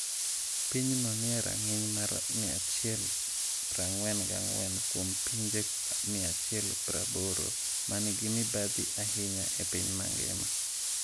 Pinyno ni e rang’iny mar 144 kuom pinje 180 ma nigi mibadhi ahinya e piny mangima.